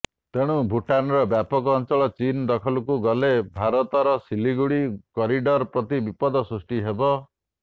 ତେଣୁ ଭୁଟାନର ବ୍ୟାପକ ଅଞ୍ଚଳ ଚୀନ୍ ଦଖଲକୁ ଗଲେ ଭାରତର ସିଲିଗୁଡି କରିଡର ପ୍ରତି ବିପଦ ସୃଷ୍ଟି ହେବ